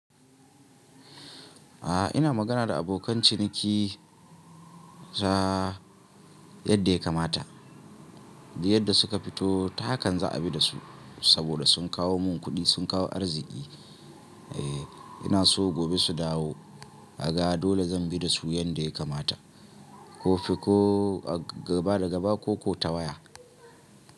A'a ina magana da abokan ciniki ta yadda ya kamata, da yadda suka fito ta hakan za a bi da su. Saboda sun kawo mun kuɗi, sun kawo arziki. Eh ina so gobe su dawo a ga dole zan bi da su yadda ya kamata. Ko fi ko a gaba da gaba ko, ko ta waya.